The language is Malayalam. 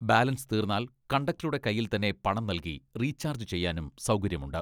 ബാലൻസ് തീർന്നാൽ കണ്ടക്ടറുടെ കയ്യിൽ തന്നെ പണം നൽകി റീചാർജ് ചെയ്യാനും സൗകര്യമുണ്ട്.